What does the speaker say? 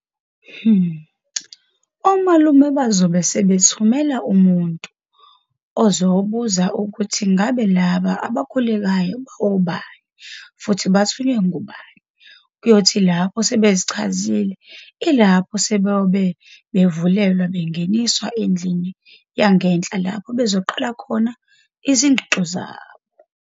Omalume bazobe sebethumela umuntu ozoyobuza ukuthi ngabe laba abakhulekayo bawobani futhi bathunywe ngubani? Kuyothi lapho sebezichazile ilapho sebeyobe bevulelwa benginiswa endlini yangenhla lapho bezoqala khona izigxogxo zabo.